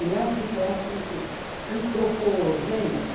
Ele é um tipo étnico antropogênico.